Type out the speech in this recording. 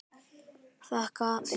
Þakka þér fyrir, sagði Emil.